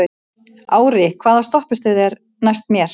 Ári, hvaða stoppistöð er næst mér?